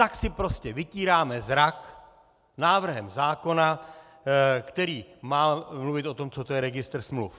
Tak si prostě vytíráme zrak návrhem zákona, který má mluvit o tom, co to je registr smluv.